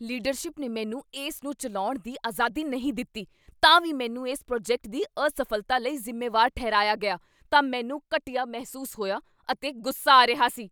Leadership ਨੇ ਮੈਨੂੰ ਇਸ ਨੂੰ ਚੱਲਾਉਣ ਦੀ ਆਜ਼ਾਦੀ ਨਹੀਂ ਦਿੱਤੀ ਤਾਂ ਵੀ ਮੈਨੂੰ ਇਸ ਪ੍ਰੋਜੈਕਟ ਦੀ ਅਸਫ਼ਲਤਾ ਲਈ ਜ਼ਿੰਮੇਵਾਰ ਠਹਿਰਾਇਆ ਗਿਆ ਤਾਂ ਮੈਨੂੰ ਘਟੀਆ ਮਹਿਸੂਸ ਹੋਇਆ ਅਤੇ ਗੁੱਸਾ ਆ ਰਿਹਾ ਸੀ।